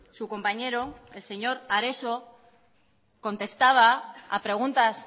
su compañero el señor areso contestaba a preguntas